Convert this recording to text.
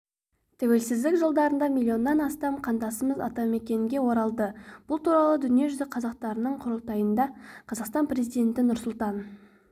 тәуелсіздік жылдарында миллионнан астам қандасымыз атамекенге оралды бұл туралы дүниежүзі қазақтарының құрылтайында қазақстан президенті нұрсұлтан